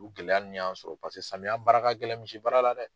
U gɛlɛya nun y'an sɔrɔ paseke samiya baara ka gɛlɛn misi baara la dɛ.